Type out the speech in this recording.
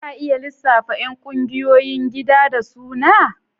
Za a iya lissafa ƴan ƙungiyoyin gida da suna?